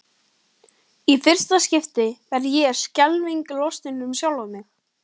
Í fyrsta skipti verð ég skelfingu lostin um sjálfa mig.